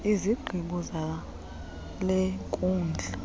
izigqibo zale nkundla